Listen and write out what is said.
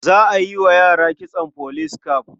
Za a yi wa yara kitson police cap.